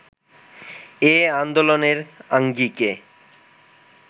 এ আন্দোলনের আঙ্গিকে